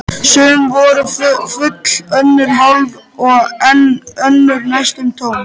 Sum voru full, önnur hálf og enn önnur næstum tóm.